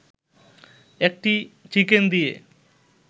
একটি চিকেন দিয়ে